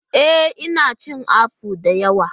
Ee! Ina cin apple da yawa.